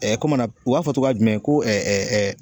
u b'a fɔ togoya jumɛn ko